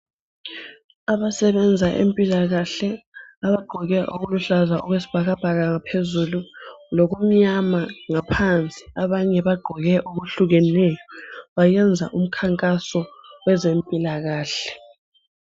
Abasebenza empilakahle abagqoke okuluhlaza okwesibhakabhaka ngaphezulu lokumnyama ngaphansi abanye bagqoke okuhlukeneyo bayenza umkhankaso wezempilakahle.